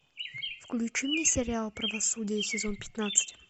включи мне сериал правосудие сезон пятнадцать